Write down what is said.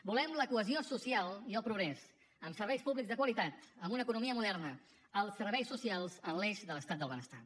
volem la cohesió social i el progrés amb serveis públics de qualitat amb una economia moderna els serveis socials en l’eix de l’estat del benestar